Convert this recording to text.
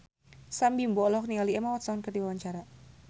Sam Bimbo olohok ningali Emma Watson keur diwawancara